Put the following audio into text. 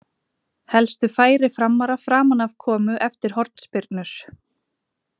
Helstu færi Framara framan af komu eftir hornspyrnur.